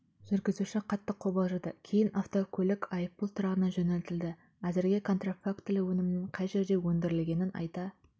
жүргізуші қатты қобалжыды кейін автокөлік айыппұл тұрағына жөнелтілді әзірге контрафактілі өнімнің қай жерде өндірілгенін айта